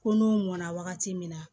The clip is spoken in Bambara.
Ko n'u mɔna wagati min na